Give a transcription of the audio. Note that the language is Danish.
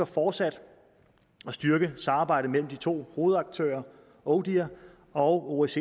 fortsat at styrke samarbejdet mellem de to hovedaktører odihr og osces